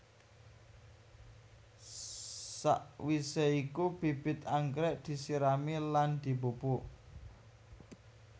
Sakwisé iku bibit anggrèk disirami lan dipupuk